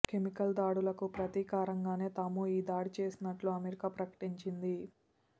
chemical దాడులకు ప్రతీకారంగానే తాము ఈ దాడి చేసినట్లు అమెరికా ప్రకటించింది